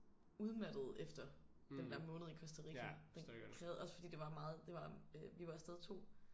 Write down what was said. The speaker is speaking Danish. Udmattede efter den der måned i Costa Rica den krævede også fordi det var meget det var øh vi var afsted 2